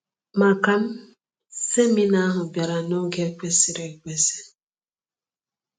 Maka m, seminar ahụ bịara n’oge kwesịrị ekwesị.